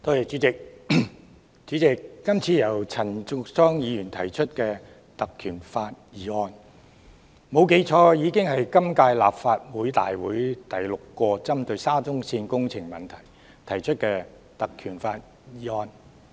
主席，今次由陳淑莊議員根據《立法會條例》動議的議案，如果沒有記錯，已經是今屆立法會大會第六次針對沙中線工程問題而根據《條例》提出的議案。